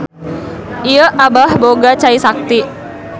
Ieu Abah boga cai sakti.